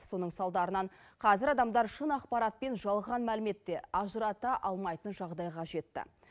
соның салдарынан қазір адамдар шын ақпарат пен жалған мәліметті ажырата алмайтын жағдайға жетті